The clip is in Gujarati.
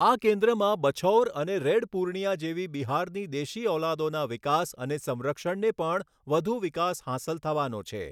આ કેન્દ્રમાં બછૌર અને રેડ પૂર્ણિયા જેવી બિહારની દેશી ઓલાદોના વિકાસ અને સંરક્ષણને પણ વધુ વિકાસ હાંસલ થવાનો છે.